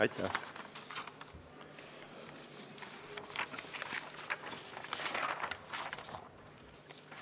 Aitäh!